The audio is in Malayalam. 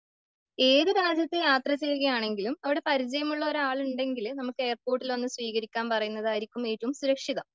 ഏത് രാജ്യത്ത് യാത്ര ചെയ്യുകയാണെങ്കിലും അവിടെ പരിചയമുള്ളൊരു ആള് ഉണ്ടെങ്കില് നമുക്ക് എയർപോർട്ടിൽ വന്ന് സ്വീകരിക്കാൻ പറയുന്നതായിരിക്കും ഏറ്റവും സുരക്ഷിതം.